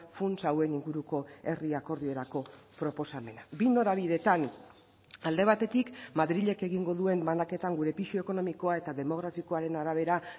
funts hauen inguruko herri akordiorako proposamena bi norabidetan alde batetik madrilek egingo duen banaketan gure pisu ekonomikoa eta demografikoaren arabera